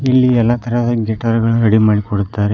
ಇಲ್ಲಿ ಎಲ್ಲ ತರಹದ ಗಿಟರುಗಳನ್ನು ರೆಡಿ ಮಾಡಿ ಕೊಡುತ್ತಾರೆ.